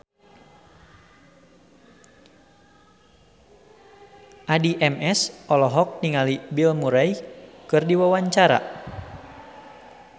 Addie MS olohok ningali Bill Murray keur diwawancara